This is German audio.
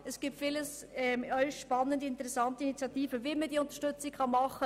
Es gibt viele neue, spannende und interessante initiativen, wie man diese Unterstützung bieten könnte.